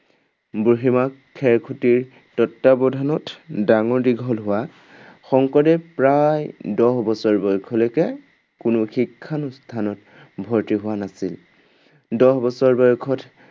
বুঢ়ীমাক খেৰসুঁতীৰ তত্ত্বাৱধানত ডাঙৰ-দীঘল হোৱা শংকৰদেৱ প্ৰায় দহ বছৰ বয়সলৈকে কোনো শিক্ষানুষ্ঠানত ভৰ্তি হোৱা নাছিল। দহ বছৰ বয়সত